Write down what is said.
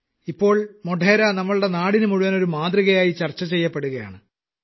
ഇപ്പോൾ മോഢേര നമ്മുടെ നാട്ടിനു മുഴുവൻ ഒരു മാതൃകയായി ചർച്ചചെയ്യപ്പെടുകയാണ്